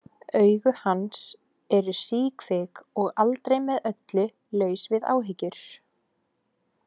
Augu hans eru síkvik og aldrei með öllu laus við áhyggjur.